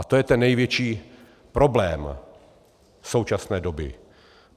A to je ten největší problém současné doby.